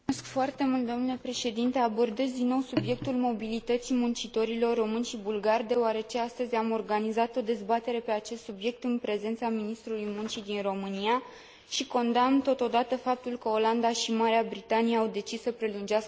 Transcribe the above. Abordez din nou subiectul mobilității muncitorilor români și bulgari, deoarece astăzi am organizat o dezbatere pe acest subiect, în prezența Ministrului Muncii din România și condamn totodată faptul că Olanda și Marea Britanie au decis să prelungească aceste restricții.